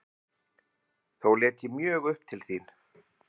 Þó leit ég mjög upp til þín.